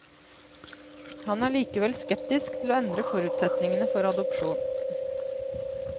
Han er likevel skeptisk til å endre forutsetningene for adopsjon.